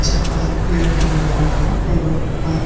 अच्छे खासे पेड़ खिल रहे है। पेड़ों पर --